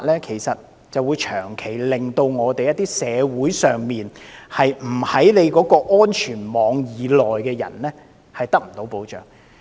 其實，這種做法令到在社會上，不在政府的安全網以內的市民，長期得不到幫助。